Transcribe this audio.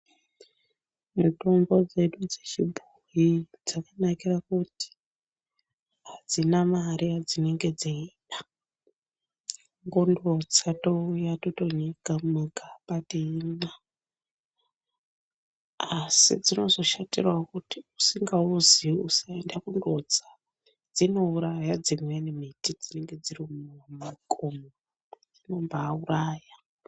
Mitombo dzedu dze chibhoyi dzaka nakira kuti adzina mare ya dzinenge dzeida kutongotsa touya toto nyika muma gaba teimwa asi dzinozo shatirawo kuti usinga uziyi usaenda kundo utsa dzino uraya dzimweni miti dzinenge dziri mu makomo dzino mbai uraya.